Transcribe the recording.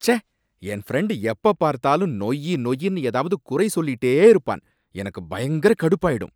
ச்சே! என் ஃப்ரெண்டு எப்பப்பார்த்தாலும் நொய்யி நொய்யின்னு ஏதாவது குறை சொல்லிட்டே இருப்பான், எனக்கு பயங்கர கடுப்பாயிடும்